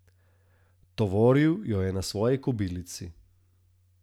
Tovoril jo je na svoji kobilici.